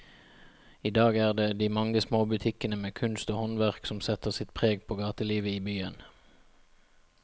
I dag er det de mange små butikkene med kunst og håndverk som setter sitt preg på gatelivet i byen.